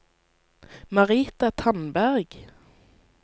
Marita Tandberg